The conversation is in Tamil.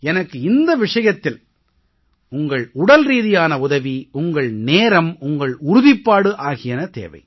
எனக்கு இந்த விஷயத்தில் உங்கள் உடல்ரீதியான உதவி உங்கள் நேரம் உங்கள் உறுதிப்பாடு ஆகியன தேவை